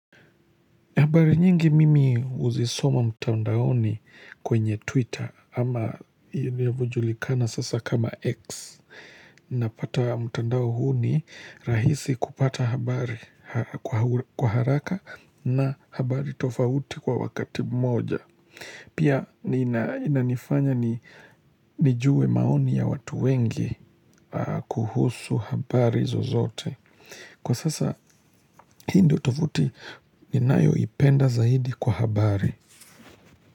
Habari nyingi mimi huzisoma mtandaoni kwenye Twitter ama inavyojulikana sasa kama X Napata mtandao huu ni rahisi kupata habari kwa haraka na habari tofauti kwa wakati mmoja Pia nina inanifanya nijue maoni ya watu wengi kuhusu habari zozote Kwa sasa hii ndo tovuti ninayoipenda zaidi kwa habari.